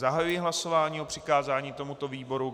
Zahajuji hlasování o přikázání tomuto výboru.